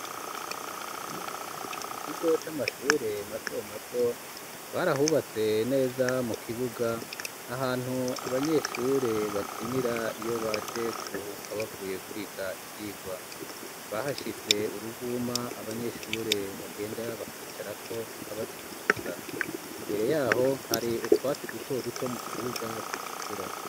Mu kigo c'amashure mato mato ,barahubatse neza mu kibuga ,ahantu abanyeshure bakinira iyo baje kuruhuka ,bavuye kwiga ivyirwa, bahashitse uruvuma abanyeshure bagenda bakicara ko, kikabazungubutsa ,imbere yaho hari utwatsi duto duto, mu kibuga tugikura.